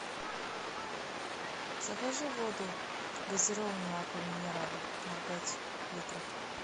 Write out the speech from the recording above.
закажи воду газированную аква минерале ноль пять литров